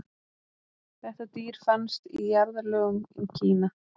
þetta dýr fannst í jarðlögum í kína